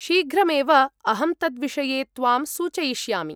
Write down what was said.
शीघ्रमेव अहं तद्विषये त्वां सूचयिष्यामि।